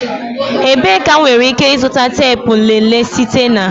Ebee ka m nwere ike ịzụta teepu nlele site na?